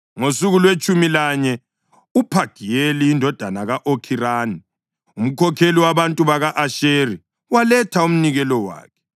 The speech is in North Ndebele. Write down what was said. Ngosuku lwetshumi lanye uPhagiyeli indodana ka-Okhirani, umkhokheli wabantu baka-Asheri, waletha umnikelo wakhe.